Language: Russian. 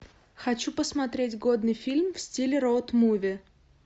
хочу посмотреть годный фильм в стиле роуд муви